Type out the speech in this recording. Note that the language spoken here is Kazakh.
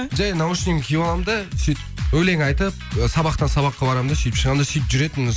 жай наушнигімді киіп алам да сөйтіп өлең айтып сабақтан сабаққа барам да сөйтіп шығам да сөйтіп жүретінмін